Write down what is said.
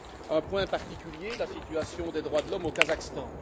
Un point particulier la situation des droits de l'homme au Kazakhstan.